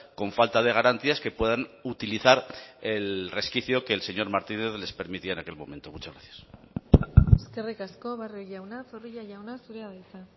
con falta de garantías que puedan utilizar el resquicio que el señor martínez les permitía en aquel momento muchas gracias eskerrik asko barrio jauna zorrilla jauna zurea da hitza